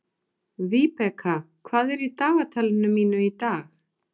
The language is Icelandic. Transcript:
Vibeka, hvað er í dagatalinu mínu í dag?